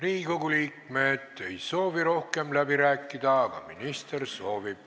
Riigikogu liikmed ei soovi rohkem läbi rääkida, aga minister soovib.